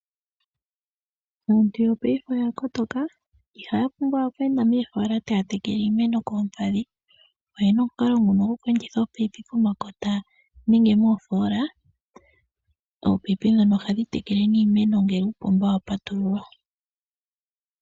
Aantu yo paife oya kotoka iiha ya pumbwa okweenda moofola taya tekele, oyena omukalo ngono omupe gwoku enditha oopayipi pomakota nenge moofola. Oopayipi ndhono oha dhi tekele ne iimeno ngele uupomba wa patululwa.